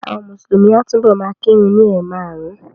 Àwọn Mùsùlùmí a túbọ̀ ma kírun ni ẹ̀ márùn-ún